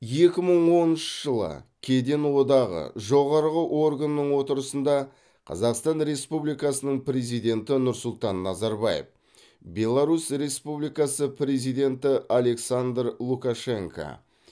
екі мың оныншы жылы кеден одағы жоғары органының отырысында қазақстан республикасының президенті нұрсұлтан назарбаев беларусь республикасы президенті александр лукашенко